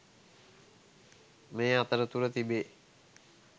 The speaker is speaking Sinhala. මේ අතරතුර තිබේ